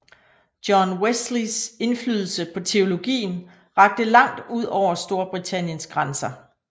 John Wesleys indflydelse på teologien rakte langt ud over Storbritanniens grænser